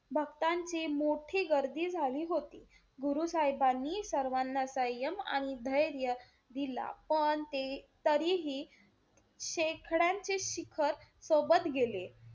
भक्तांची मोठी गर्दी झाली होती. गुरु साहेबानीं सर्वांना संयम आणि धैर्य दिला पण ते तरीही शेकड्यांचे शिखर सोबत गेले.